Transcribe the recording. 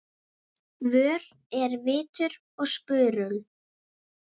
Hana, fáðu þér reyk